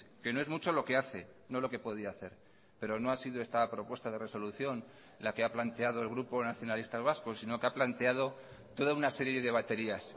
que no es mucho lo que hace no lo que podía hacer pero no ha sido esta propuesta de resolución la que ha planteado el grupo nacionalistas vascos sino que ha planteado toda una serie de baterías